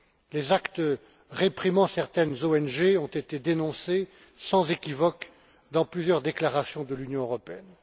Des actes réprimant certaines ONG ont été dénoncés sans équivoque dans plusieurs déclarations de l'Union européenne.